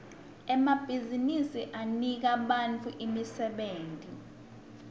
emabhizinsi anika bantfu imisebenti